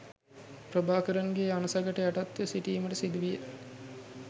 ප්‍රභාකරන්ගේ අණසකට යටත්ව සිටීමට සිදුවිය